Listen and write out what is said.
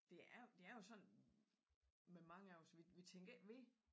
Det er det er jo sådan med mange af os vi tænker ikke ved det